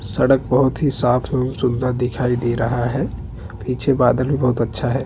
सड़क बहुत ही साफ और सुन्दर दिखाई दे रहा है पीछे बादल भी बहुत अच्छा है।